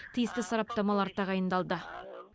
тиісті сараптамалар тағайындалды